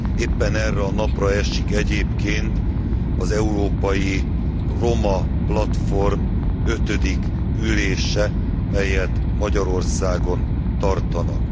Éppen erre a napra esik egyébként az Európai Roma Platform ötödik ülése, melyet Magyarországon tartanak.